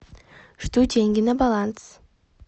жду деньги на баланс